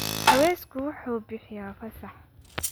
Cawsku wuxuu bixiyaa fasax.